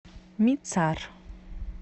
мицар